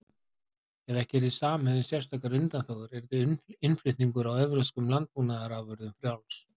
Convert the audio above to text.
Ef ekki yrði samið um sérstakar undanþágur yrði innflutningur á evrópskum landbúnaðarafurðum frjáls.